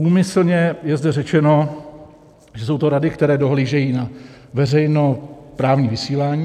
Úmyslně je zde řečeno, že jsou to rady, které dohlížejí na veřejnoprávní vysílání.